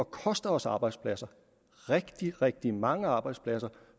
koste os arbejdspladser rigtig rigtig mange arbejdspladser